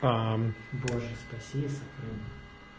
аа боже спаси и сохрани